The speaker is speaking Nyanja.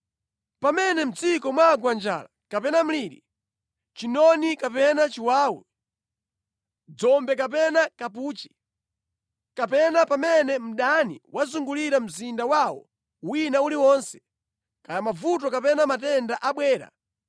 “Pamene mʼdziko mwagwa njala kapena mliri, chinoni kapena chiwawu, dzombe kapena kapuchi, kapena pamene mdani wazungulira mzinda wawo wina uliwonse, kaya mavuto kapena matenda abwera,